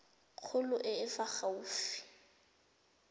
kgolo e e fa gaufi